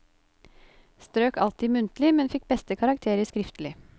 Strøk alltid i muntlig, men fikk beste karakter i skriftlig.